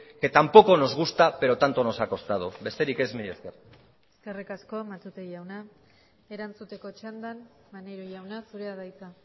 que tampoco nos gusta pero tanto nos ha costado besterik ez mila esker eskerrik asko matute jauna erantzuteko txandan maneiro jauna zurea da hitza